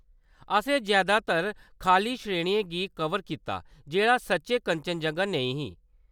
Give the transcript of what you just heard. असें जैदातर खʼल्लकी श्रेणियें गी कवर कीता जेह्‌‌ड़ा सच्चैं कंचनजंगा नेईं ही।